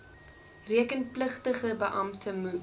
rekenpligtige beampte moet